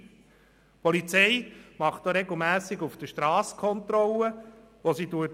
Die Polizei führt auch regelmässig auf der Strasse Kontrollen durch.